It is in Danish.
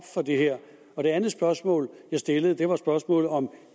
for det andet spørgsmål jeg stillede var spørgsmålet om